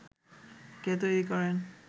কে তৈরী করেন